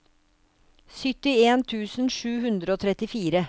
syttien tusen sju hundre og trettifire